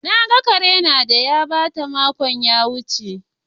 Na gan Kare na da ya bata makon da ya wuce.